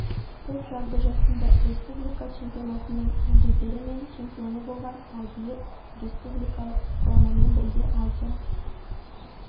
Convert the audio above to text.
топ жарды жасында республика чемпионатының жүлдегері және чемпионы болған ал биыл республикалық құрамамен бірге азия